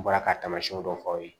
N bɔra ka tamasiɲɛw dɔ fɔ aw ye